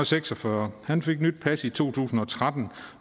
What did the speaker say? seks og fyrre han fik nyt pas i to tusind og tretten